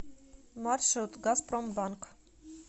маршрут газпромбанк